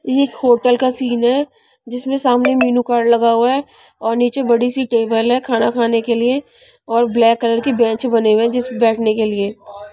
ये एक होटल का सीन है जिसमें सामने मेनू कार्ड लगा हुआ है और नीचे बड़ी सी टेबल है खाना खाने के लिए और ब्लैक कलर की बेंच बने हुए हैं जिस बैठने के लिए--